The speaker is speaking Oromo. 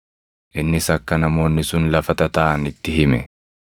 Innis akka namoonni sun lafa tataaʼan itti hime.